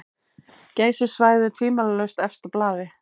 Geysissvæðið tvímælalaust efst á blaði.